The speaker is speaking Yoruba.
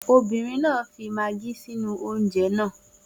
Obìnrin náà fi magí sínú oúnjẹ náà.